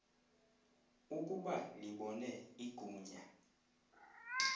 ukuba libone igunya